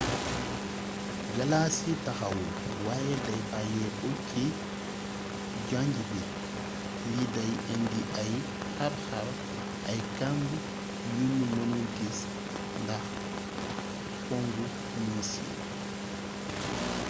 galaas gi taxawul waye day bayyéeko ci janj bi li day indi ay xarxar ay kamb yunu mënul gis ndax pongu niis yi